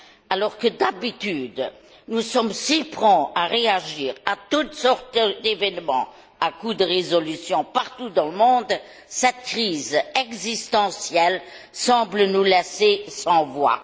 Alors que d'habitude nous sommes si prompts à réagir à toutes sortes d'événements à coups de résolutions partout dans le monde, cette crise existentielle semble nous laisser sans voix.